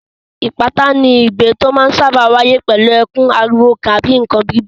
Ìpátá ni igbe tó máa ń sáábà wáyé pẹ̀lú ẹkún, ariwo tàbí nǹkan gbígbá.